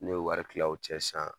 N'i y'o wari kila o cɛ sisan